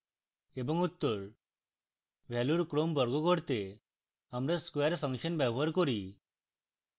এবং উত্তর